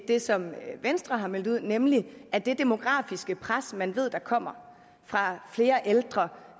det som venstre har meldt ud nemlig at det demografiske pres man ved kommer fra flere ældre